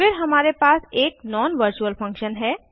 फिर हमारे पास एक non वर्चुअल फंक्शन है